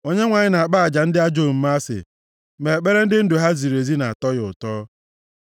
Onyenwe anyị na-akpọ aja ndị ajọ omume asị, ma ekpere ndị ndụ ha ziri ezi na-atọ ya ụtọ.